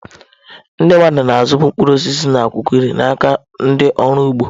Ndị mmadụ na-azụbu mkpụrụ osisi na akwụkwọ nri n'aka ndị ọrụ ugbo.